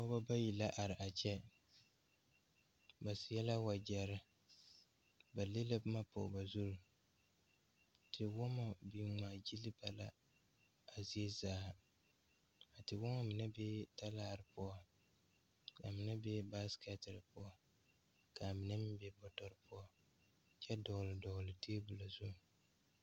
Nobɔ bayi la are a kyɛ ba seɛ la wagyɛrre ba de la bomma pog ba zurre te wɔmma biŋ ngmaa gyille ba la a zie zaa te wɔmmɔ mine bee talaare poɔ ka mine be baaskɛterre poɔ κaa mine meŋ be bɔtɔrre poɔ kyɛ dɔgle dɔgle tabol zu.